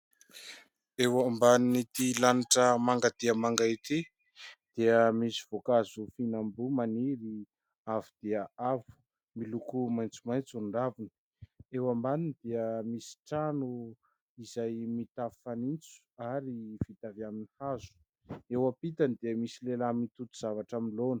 Eo amban' ity lanitra manga dia manga ity dia misy voankazo fihinam-boa maniry avo dia avo. Miloko maitsomaitso ny raviny. Eo ambaniny dia misy trano izay mitafo fanitso ary vita avy amin'ny hazo. Eo ampitany dia misy lehilahy mitoto zavatra amin'ny laona.